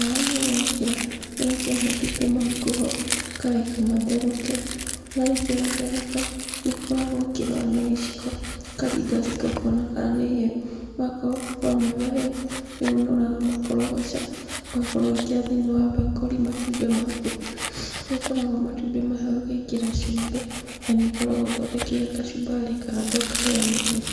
Maaĩ Mau wekĩra, ũgekĩra matumbĩ maku ho, ũkareka matherũke. Marĩkia gũtherũka, nĩũkoragwo ũkĩrora na gĩciko, ũkaringaringa ũkona kana nĩihĩu na akorũo magũkorwo me mahĩũ nĩũnũraga makorogoca, ũgakorwo ũgĩkĩra thĩiniĩ wa bakũri matumbĩ maku kũrĩa ũkoragwo matũmbĩ maya ũgĩkĩra cumbĩ na nĩ ũkoragwo ũthondekeire kachumbari kando ũkarĩaniria.